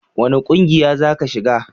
wani ƙungiya za ki shiga?